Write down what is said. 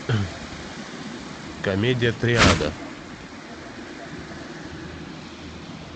комедия триада